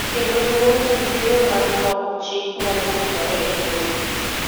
kendo luoro ni yiero mar loko chik nyalo posore e lwetgi,